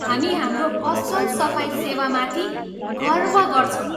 हामी हाम्रो असल सफाइ सेवामाथि गर्व गर्छौँ।